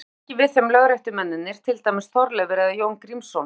Þeir geta tekið við þeim lögréttumennirnir, til dæmis Þorleifur eða Jón Grímsson.